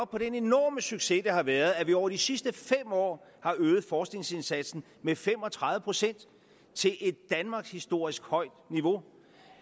på den enorme succes det har været at vi over de sidste fem år har øget forskningsindsatsen med fem og tredive procent til et danmarkshistorisk højt niveau